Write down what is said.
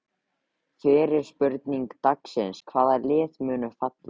Fyrri spurning dagsins: Hvaða lið munu falla?